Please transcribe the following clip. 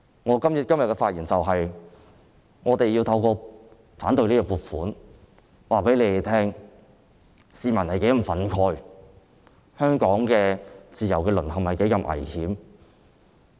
我今天發言的目的是，我們透過反對預算案來告訴你們，市民是如何憤慨，香港的自由淪陷是多麼危險。